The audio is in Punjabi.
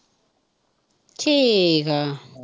ਠੀਕ ਆ